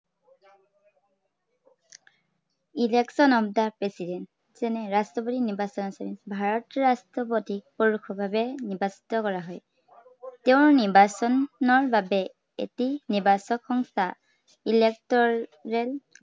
election of the President যেনে ৰাষ্ট্ৰপতিৰ নিৰ্বাচন। এৰ ভাৰতৰ ৰাষ্ট্ৰপতিক পৰোক্ষ ভাৱে নিৰ্বাচিত কৰা হয়। তেওঁৰ নিৰ্বাচনৰ বাবে এটি নিৰ্বাচক সংস্থা electoral